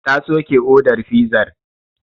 Ta soke odar fizar.